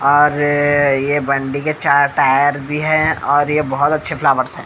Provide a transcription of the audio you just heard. और ये बंडी के चार टायर भी हैं और ये बहुत अच्छे फ्लावर्स हैं।